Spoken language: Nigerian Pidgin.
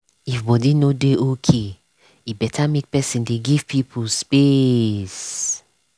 if body no dey okay e better make person dey give people space.